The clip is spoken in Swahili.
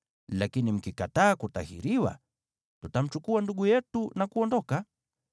Lakini mkikataa kutahiriwa, tutamchukua ndugu yetu na kuondoka.”